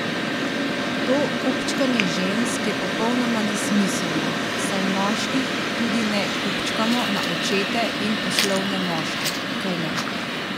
To kupčkanje žensk je popolnoma nesmiselno, saj moških tudi ne kupčkamo na očete in poslovne moške, kajne?